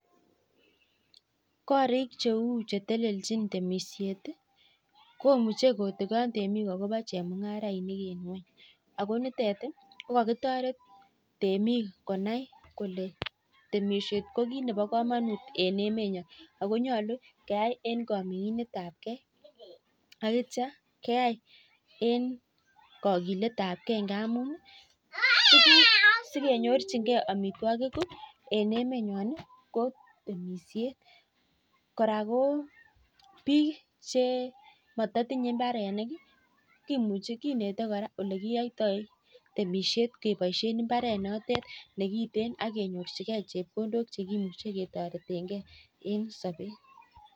Imuchii kotikon akoboo chemungaraishek chepo emet kokakitoret temik konai kolee temishet koboo kamanut missing sikenyoruu amitwokik